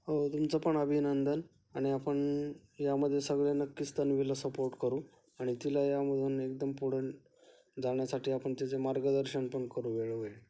हो तुमचं पण अभिनंदन आणि आपण यामध्ये सगळे तन्वीला नक्कीच सपोर्ट करू आणि तिला त्यामधून एकदम पुढे जाण्यासाठी आपण तिचे मार्गदर्शन पण करू वेळोवेळी.